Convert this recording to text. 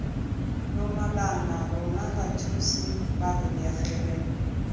nomalanga rona bathusi babelegi re